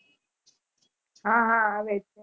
હા હા આવે છે